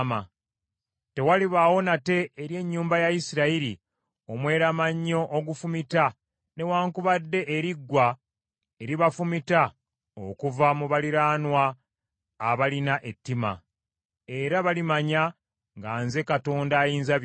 “ ‘Tewalibaawo nate eri ennyumba ya Isirayiri omweramannyo ogufumita newaakubadde eriggwa eribafumita okuva mu baliraanwa abalina ettima. Era balimanya nga nze Katonda Ayinzabyonna.